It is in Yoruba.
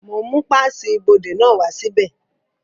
Mo ń mú páàsì ibodè náà wá sí bẹ̀